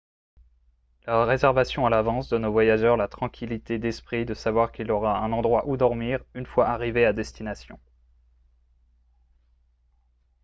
la réservation à l'avance donne au voyageur la tranquillité d'esprit de savoir qu'il aura un endroit où dormir une fois arrivé à destination